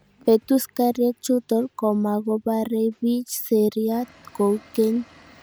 Betuskarihiek chutok komakoparei piiich seriat kou keny